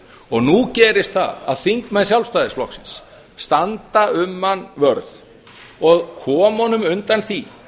og nú gerist það að þingmenn sjálfstæðisflokksins standa um hann vörð og koma honum undan því